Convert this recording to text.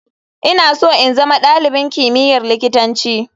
Ina so in zama dalibin kimiyyar likitanci.